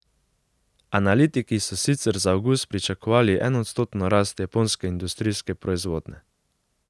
Analitiki so sicer za avgust pričakovali enoodstotno rast japonske industrijske proizvodnje.